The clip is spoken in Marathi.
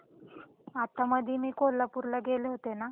आत्ता मधे मी कोल्हापूर ला गेले होते ना.